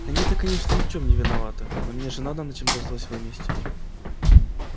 они-то конечно ни в чем не виноваты но мне же надо на чем-то злость выместить